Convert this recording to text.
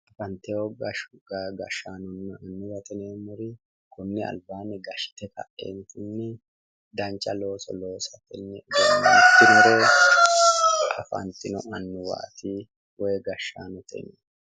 Afanteyo gashshaano maati yinummoro konni albaanni danchare loeoss sainore afantino gashshaanooti yinanni